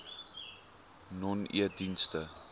nonedienste